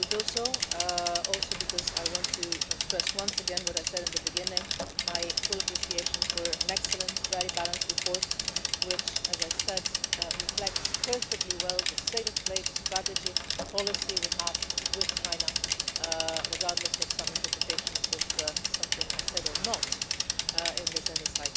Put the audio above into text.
I will do so also because I want to stress once again what I said in the beginning my full appreciation for an excellent, very balanced report which, as I said, reflects perfectly well the state of play, the strategy and the policy we have with China, regardless of some interpretations of something I did or did not say in this Chamber.